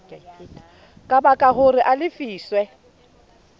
ka baka hore a lefiswe